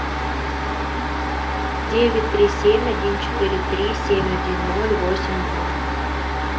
девять три семь один четыре три семь один ноль восемь два